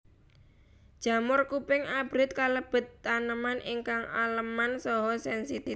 Jamur kuping abrit kalebet taneman ingkang aleman saha sènsitif